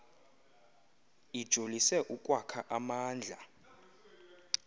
ijolise ukwakha amandla